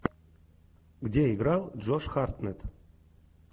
где играл джош хартнетт